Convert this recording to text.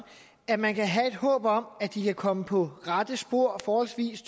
at man kan have et håb om at de kan komme på rette spor forholdsvis